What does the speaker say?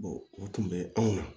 o tun bɛ anw na